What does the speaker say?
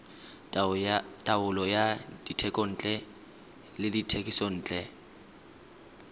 taolo ya dithekontle le dithekisontle